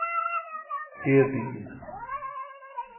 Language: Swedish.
Edin